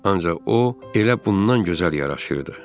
Ancaq o elə bundan gözəl yaraşırdı.